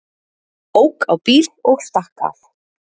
Ók á bíl og stakk af